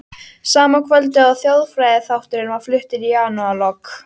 Sama kvöldið og þjóðfræðiþátturinn var fluttur í janúarlok